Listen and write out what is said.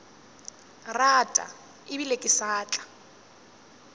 rata ebile ke sa tla